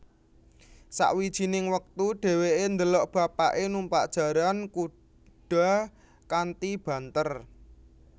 Sawijining wektu dheweke ndelok bapake numpak jaran kuda kanthi banter